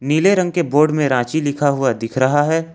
पीले रंग के बोर्ड में रांची लिखा हुआ दिख रहा है।